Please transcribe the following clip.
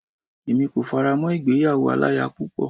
Èmi kò fara mọ́ ìgbéyàwó aláya púpọ̀.